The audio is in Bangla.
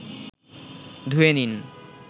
ধুয়ে নিন